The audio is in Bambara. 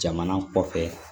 Jamana kɔfɛ